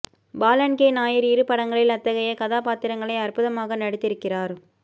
Balan K Nair இரு படங்களில் அத்தகைய கதாபாத்திரங்களை அற்புதமாக நடித்திருக்கிறார்